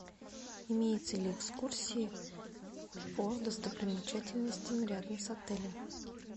имеются ли экскурсии по достопримечательностям рядом с отелем